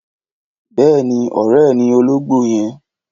Bèéní, õré e ni ológbó yen